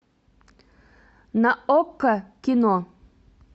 на окко кино